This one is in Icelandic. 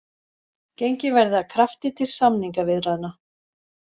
Gengið verði að krafti til samningaviðræðna